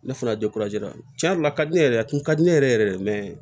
Ne fana tiɲɛ yɛrɛ la a ka di ne yɛrɛ kun ka di ne yɛrɛ yɛrɛ de ye